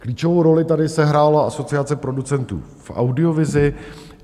Klíčovou roli tady sehrála Asociace producentů v audiovizi.